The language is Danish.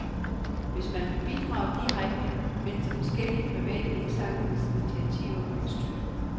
Hvis man vil bidrage direkte, findes der forskellige private indsamlingsinitiativer, man kan støtte.